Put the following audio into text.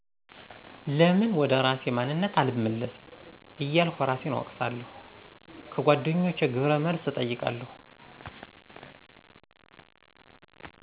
ለምን ወደ እራሴ ማንነት አልመለስም እያልኩ እራሴን እወቅሳለሁ። ከጎደኛቸ ግብረ መልስ እጠይቃለሁ።